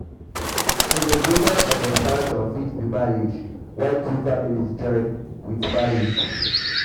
celebration of expansion fit be marriage when um two families join um with marriage